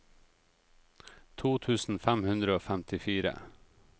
to tusen fem hundre og femtifire